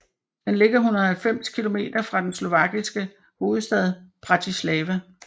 Den ligger 190 kilometer fra den slovakiske hovedstad Bratislava